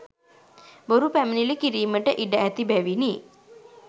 බොරු පැමිණිලි කිරීමට ඉඩ ඇති බැවිනි.